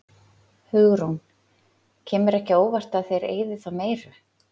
Hugrún: Kemur ekki á óvart að þeir eyði þá meiru?